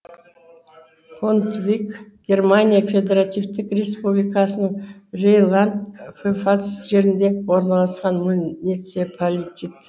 контвиг германия федеративтік республикасының рейнланд пфальц жерінде орналасқан муниципалитет